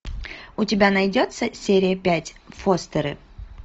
у тебя найдется серия пять фостеры